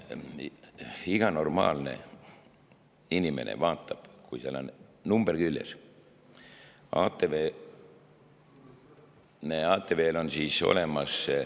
Iga normaalne inimene vaatab, kas seal on number küljes, ATV-l peaks see olemas olema.